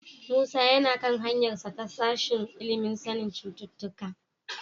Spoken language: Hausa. Musa yana kan hanyarsa ta sashen ilimin sanin cututtuka.